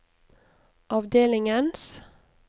avdelingens